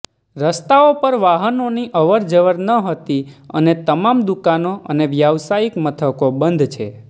રસ્તાઓ પર વાહનોની અવરજવર નહતી અને તમામ દુકાનો અને વ્યવસાયિક મથકો બંધ છે